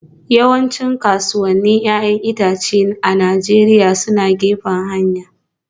Yawancin kasuwannin 'ya'yan itace a Najeriya suna gefen hanya